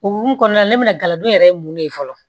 O hokumu kɔnɔna na ne bɛna galadon yɛrɛ ye mun de ye fɔlɔ